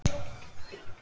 Tinna og Heiðar.